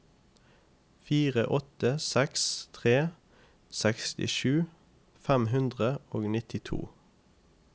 fire åtte seks tre sekstisju fem hundre og nittito